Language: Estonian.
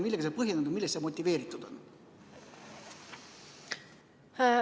Millega see põhjendatud on ja millest see motiveeritud on?